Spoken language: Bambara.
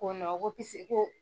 Ko ko ko.